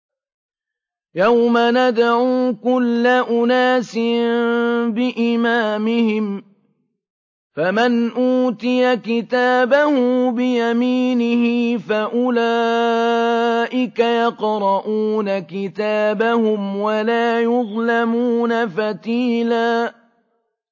يَوْمَ نَدْعُو كُلَّ أُنَاسٍ بِإِمَامِهِمْ ۖ فَمَنْ أُوتِيَ كِتَابَهُ بِيَمِينِهِ فَأُولَٰئِكَ يَقْرَءُونَ كِتَابَهُمْ وَلَا يُظْلَمُونَ فَتِيلًا